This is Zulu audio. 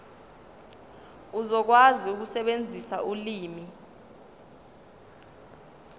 uzokwazi ukusebenzisa ulimi